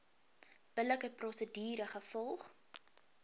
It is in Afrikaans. billike prosedure gevolg